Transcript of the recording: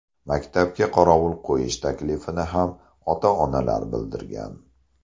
Maktabga qorovul qo‘yish taklifini ham ota-onalar bildirgan.